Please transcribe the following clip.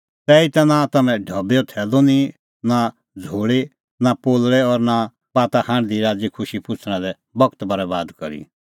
तैहीता नां तम्हैं ढबैओ थैलू निंईं नां झ़ोल़ी नां पोलल़ै और नां ता बाता हांढदी राज़ीखुशी पुछ़णा लै बगत बरैबाद करी